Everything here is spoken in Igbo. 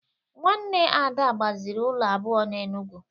Nwanne Ada gbaziri ụlọ abụọ n’Enugwu